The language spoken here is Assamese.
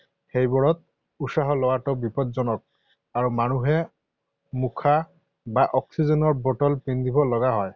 সেইবোৰত উশাহ লোৱাটো বিপদজনক আৰু মানুহে মুখা বা অক্সিজেনৰ বটল পিন্ধিব লগা হয়।